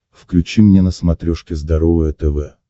включи мне на смотрешке здоровое тв